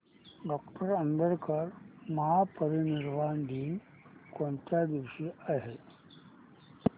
doctor Ambedkar महापरिनिर्वाण दिन कोणत्या दिवशी आहे